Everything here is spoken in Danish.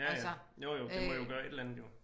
Ja ja jo jo det må jo gøre et eller andet jo